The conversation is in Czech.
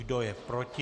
Kdo je proti?